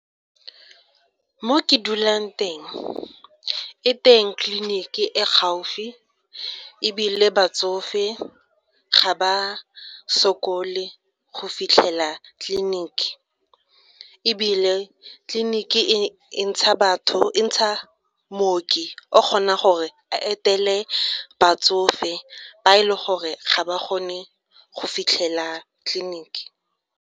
Mo ke dulang teng ko teng clinic e gaufi, ebile batsofe ga ba sokole go fitlhela tleliniki, ebile tliliniki e ntsha batho e ntsha mooki o kgona gore a etele batsofe ba e le gore ga ba kgone go fitlhela tleliniki.